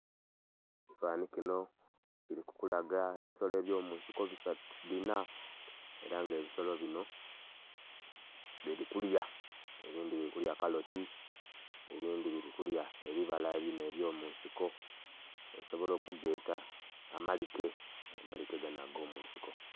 Ekifananhi kinho kili kukulaga ebisolo byo munsiko bina era nga ebisolo binho bili kulya, ebindhi bili kulya kaloti ebindhi bili kulya ebibala binho ebyo munsiko osobola okugeta amalike, amalike ganho ago munsiko.